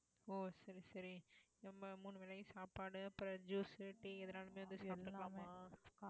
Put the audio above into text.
ஓ சரி சரி நம்ம மூணு வேளையும் சாப்பாடு அப்புறம் juice, tea எதுனாலும் இதை சாப்பிடலாமா